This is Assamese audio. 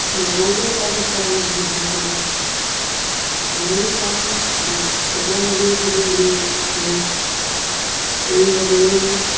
লগৰ কেইটাই কোৱা মতে তাই মোক বহুত ভাল পায়। ময়ো পাঁও but এটাই ভাৱি আছো যে, মোক এৰি নগ'লেই হ'ল।